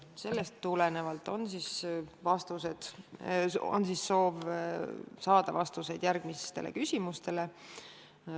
Sellest tulenevalt on soov saada vastused järgmistele küsimustele.